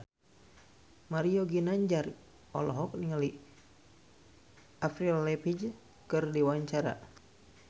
Mario Ginanjar olohok ningali Avril Lavigne keur diwawancara